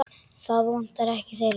Það vantar ekkert þeirra.